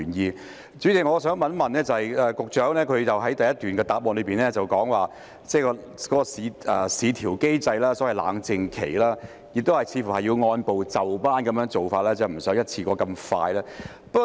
代理主席，我想問的是，局長在主體答覆第一部分提到市調機制，亦即所謂的冷靜期，有關的工作似乎要按部就班地處理，而非一次過迅速地進行。